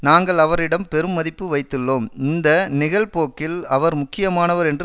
நாங்கள் அவரிடம் பெரும் மதிப்பு வைத்துள்ளோம் இந்த நிகழ்போக்கில் அவர் முக்கியமானவர் என்று